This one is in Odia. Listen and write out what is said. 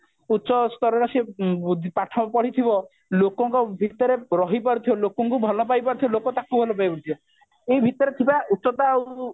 ଉଚ୍ଚ ସ୍ତରରେ ସେ ପାଠ ପଢିଥିବ ଲୋକଙ୍କ ଭିତରେ ରହି ପଡ଼ୁଥିବା ଲୋକଙ୍କୁ ଭଲ ପାଇ ପାରୁଥିବ ଲୋକେ ତାକୁ ଭଲ ପାଇ ପାରୁଥିବେ ଏଇ ଭିତରେ ଥିବା ଉଚ୍ଚତା